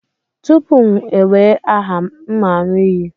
Tupu m ewee aha, m aṅụ iyi.